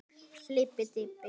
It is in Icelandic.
Lager var miklu nær sanni.